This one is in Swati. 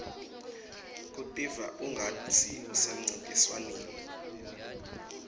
kutiva kungatsi usemcintiswaneni